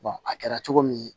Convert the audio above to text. a kɛra cogo min